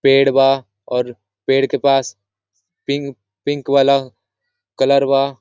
पेड़ बा और पेड़ के पास पिंक पिंक वाला कलर बा--